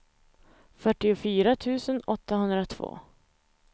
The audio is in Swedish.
fyrtiofyra tusen åttahundratvå